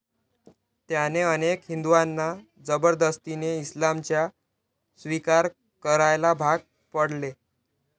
त्याने अनेक हिंदूंना जबरदस्तीने इस्लामचा स्वीकार करायला भाग पडले.